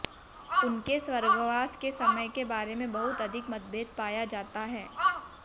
उनके स्वर्गवास के समय के बारे में बहुत अधिक मतभेद पाया जाता है